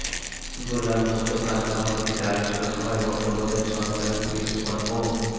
গোলাম মোস্তফার সভাপতিত্বে আলোচনা সভায় বক্তব্য দেন সহকারী পুলিশ সুপার মো